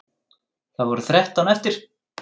Það voru þrettán eftir!